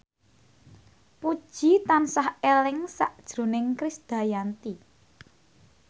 Puji tansah eling sakjroning Krisdayanti